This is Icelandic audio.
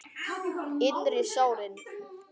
Innri sárin.